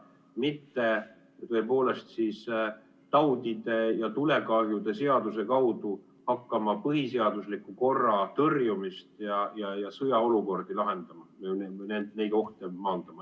mitte taudide ja tulekahjude seaduse kaudu hakkama põhiseadusliku korra tõrjumist ja sõjaolukordi lahendama, neid ohte maandama.